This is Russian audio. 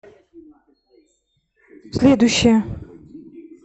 следующая